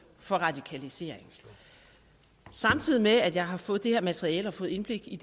for radikalisering samtidig med at jeg har fået det her materiale og fået indblik i